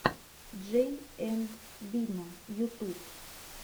джей энд бина ютуб